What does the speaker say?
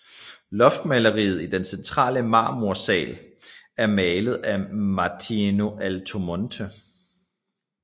Loftmaleriet i den centrale Marmorsaal er malet af Martino Altomonte